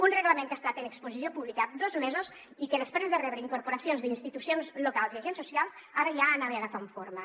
un reglament que ha estat en exposició pública dos mesos i que després de rebre incorporacions d’institucions locals i agents socials ara ja anava agafant forma